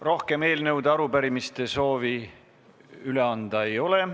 Rohkem eelnõude ja arupärimiste üleandmise soovi ei ole.